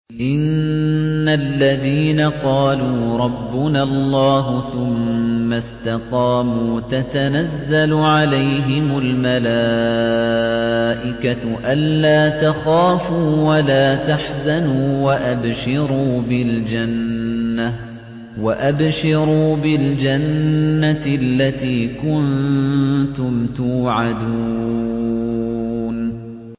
إِنَّ الَّذِينَ قَالُوا رَبُّنَا اللَّهُ ثُمَّ اسْتَقَامُوا تَتَنَزَّلُ عَلَيْهِمُ الْمَلَائِكَةُ أَلَّا تَخَافُوا وَلَا تَحْزَنُوا وَأَبْشِرُوا بِالْجَنَّةِ الَّتِي كُنتُمْ تُوعَدُونَ